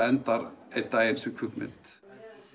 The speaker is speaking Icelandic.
enda einn daginn sem kvikmynd